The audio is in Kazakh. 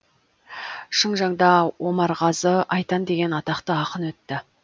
шыңжаңда омарғазы айтан деген атақты ақын өтті